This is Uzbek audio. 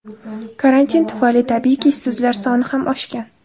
Karantin tufayli, tabiiyki, ishsizlar soni ham oshgan.